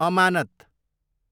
अमानत